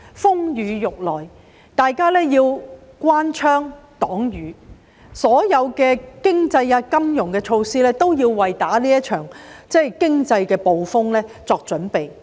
風雨欲來，大家要關窗擋雨，所有經濟金融措施都是為這場經濟風暴作準備的。